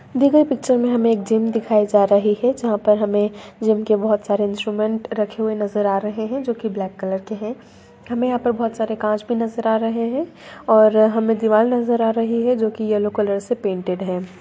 दी गई पिक्चर में हमे एक जीम दिखाए जा रही है जहां पर हमें जिम के बहुत सारे इंस्ट्रूमेंट रखे दिखाई जा रहे जो की ब्लैक कलर के है हमें यहां पर बहुत सारे कांच भी नजर आ रहे हैं और हमें दीवार नजर आ रही है जो की येलो कलर से प्रिंटेड है।